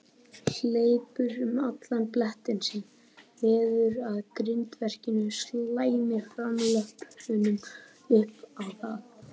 Hleypur um allan blettinn sinn, veður að grindverkinu, slæmir framlöppunum upp á það.